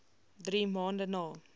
drie maande na